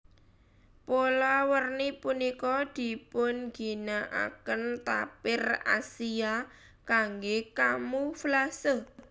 Pola werni punika dipunginakaken tapir Asia kanggé kamuflase